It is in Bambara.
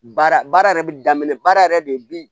Baara baara yɛrɛ bi daminɛ baara yɛrɛ de bi